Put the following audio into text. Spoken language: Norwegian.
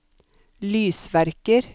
lysverker